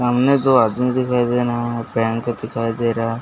सामने दो आदमी दिखाई दे रहा है बैंक दिखाई दे रहा हैं।